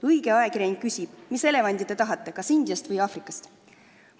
Õige ajakirjanik küsib: "Mis elevanti te tahate, kas india või aafrika elevanti?